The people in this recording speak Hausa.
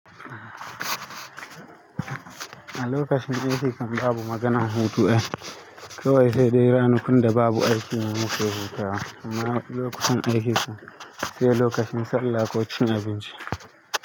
A lokacin aiki kan babu maganan hutu, kawai sai dai ranakun da babu aiki ne muka hutawa, amma lokutan aiki kam sai lokacin sallah ko cin abinci.